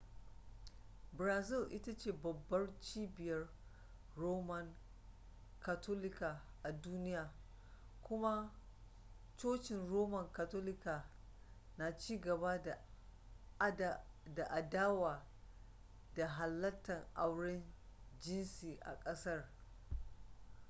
brazil ita ce babbar cibiyar roman katolika a duniya kuma cocin roman katolika na cigaba da adawa da halatta auren jinsi a kasar